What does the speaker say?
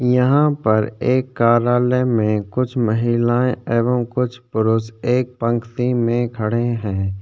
यहाँ पर एक कार्यालय में कुछ महिलाएं एवं कुछ पुरुष एक पंक्ति में खड़े हैं।